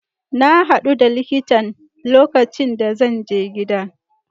Na hadu da likitan lokacin da zan je gida.